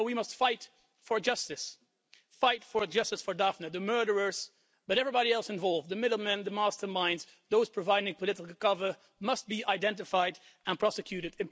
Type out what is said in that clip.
And therefore we must fight for justice for Daphne. The murderers, but also everybody else involved the middlemen, the masterminds, those providing political cover must be identified and prosecuted.